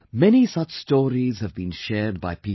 Many such stories have been shared by people